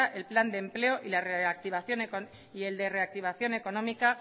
el plan de empleo y el de la reactivación económica